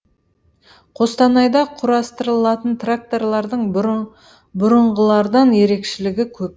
қостанайда құрастырылатын тракторлардың бұрынғылардан ерекшелігі көп